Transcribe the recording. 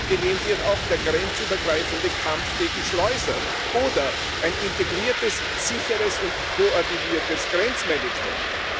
Abgelehnt wird auch der grenzübergreifende Kampf gegen Schleuser oder ein integriertes, sicheres und koordiniertes Grenzmanagement.